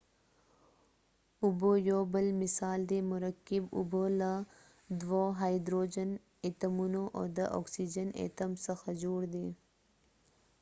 اوبه یو بل مثال دی مرکب اوبه له دوه هایدروجن اتومونو او د اکسیجن اتوم څخه جوړ دي